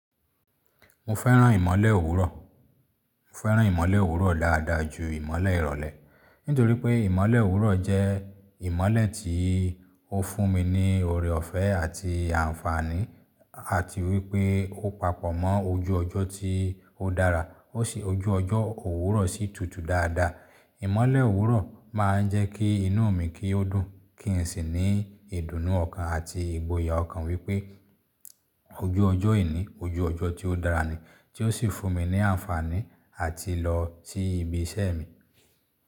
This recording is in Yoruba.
Mo fẹ́ràn ìmọ̀le òwúrọ̀. Mo fẹ́ràn ìmọ̀le òwúrọ̀ dáadáa ju ìmọ̀le ìrọ̀lẹ́. Nítorí pé ìmọ̀le òwúrọ̀ jẹ́ ìmọ̀le tí ó fún mi ní ọ̀rẹ ọ̀fẹ́ àti ànfàní àti wípé ó papọ̀ mọ́ ojú ọjọ́ tí ó dára. Ó ṣe ojú ọjọ́ òwúrọ̀ sí tùtù dáadáa. Ìmọ̀le òwúrọ̀ máa ń jẹ́ kí inú mi kí ó dùn, kí n sì ní ìdùnnú ọ̀kan àti ìgboyà ọ̀kan wípé ojú ọjọ́ ení, ojú ọjọ́ tí ó dára ni, tí ó sì fún mi ní ànfàní àti lọ sí ibi iṣẹ́ mi.